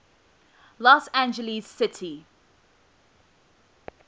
los angeles city